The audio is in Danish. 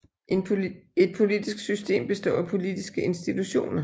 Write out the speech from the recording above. Et politisk system består af politiske institutioner